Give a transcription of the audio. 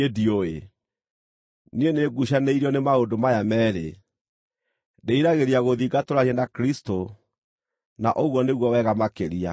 Niĩ nĩnguucanĩirio nĩ maũndũ maya meerĩ: Ndĩriragĩria gũthiĩ ngatũũranie na Kristũ, na ũguo nĩguo wega makĩria;